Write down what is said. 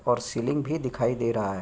और सीलिंग भी दिखाई दे रहा है।